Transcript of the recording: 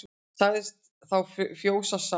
Sagði þá fjósamaður